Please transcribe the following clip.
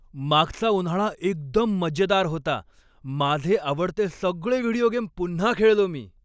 मागचा उन्हाळा एकदम मजेदार होता. माझे आवडते सगळे व्हिडिओ गेम पुन्हा खेळलो मी.